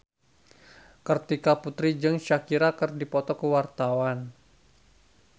Kartika Putri jeung Shakira keur dipoto ku wartawan